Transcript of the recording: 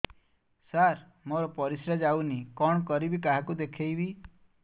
ସାର ମୋର ପରିସ୍ରା ଯାଉନି କଣ କରିବି କାହାକୁ ଦେଖେଇବି